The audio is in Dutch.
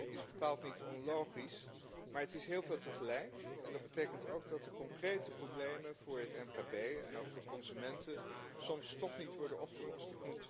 Dat is bepaald niet onlogisch, maar het is heel veel tegelijk en dat betekent ook dat de concrete problemen voor het mkb en ook voor consumenten soms toch niet worden opgelost.